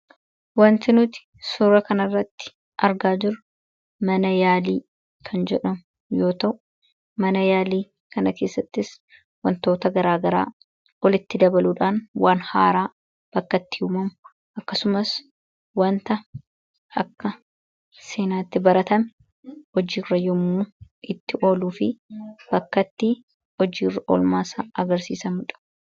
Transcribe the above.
Wanti nuti suura kanarratti argaa jirru mana yaalii kan jedhamu yoo ta'u mana yaalii kana keessattis wantoota garaagaraa walitti dabaluudhaan waan haaraa bakkatti uumamu akkasumas wanta akka seenaatti baratame hojiirra yommuu itti ooluu fi bakkatti hojiirra olmaasaa agarsiisamudha.